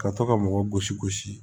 Ka to ka mɔgɔ gosi gosi